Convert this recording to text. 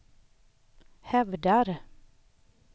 hävdar